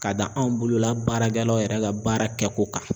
K'a da anw bolola baaragɛlaw yɛrɛ ka baara kɛ ko kan